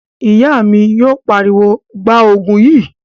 Ìyá mi yóò pariwo, 'Gbaa Ògùn yìí!'